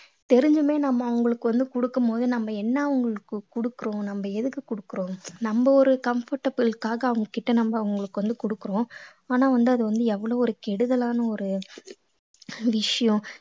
தெரிஞ்சுமே நம்ம அவங்களுக்கு வந்து கொடுக்கும் போது நம்ம என்ன அவங்களுக்கு கொடுக்கிறோம் நம்ம எதுக்கு கொடுக்கிறோம் நம்ம ஒரு comfortable க்காக அவங்க கிட்ட நம்ம அவங்களுக்கு வந்து கொடுக்கிறோம் ஆனா வந்து அது வந்து எவ்வளவு ஒரு கெடுதலான ஒரு விஷயம்